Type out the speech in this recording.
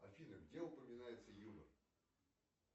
афина где упоминается юмор